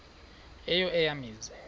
eyo eya mizi